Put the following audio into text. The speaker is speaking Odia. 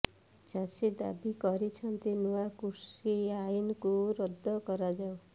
ଚାଷୀ ଦାବି କରିଛନ୍ତି ନୂଆ କୃଷି ଆଇନକୁ ରଦ୍ଦ କରାଯାଉ